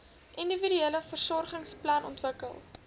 individuele versorgingsplan ontwikkel